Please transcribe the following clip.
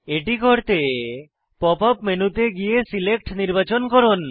এটি করতে pop up মেনুতে গিয়ে সিলেক্ট নির্বাচন করুন